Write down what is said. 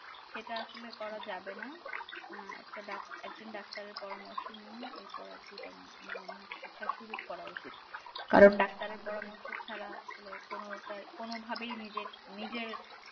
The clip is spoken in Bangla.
সেটা আসলে করা যাবে না একজন doctor এর পরামর্শ নিয়ে করা উচিত কারণ doctor এর পরামর্শ ছাড়া কোনভাবেই নিজের